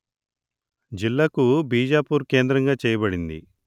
జిల్లకు బీజపూర్ కేంద్రంగా చేయబడింది